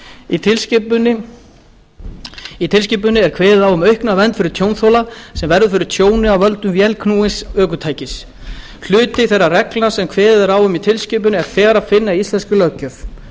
í tilskipuninni er kveðið á um aukna vernd fyrir tjónþola sem verður fyrir tjóni af völdum vélknúins ökutækis hluta þeirra reglna sem kveðið er á um í tilskipuninni er þegar að finna í íslenskri löggjöf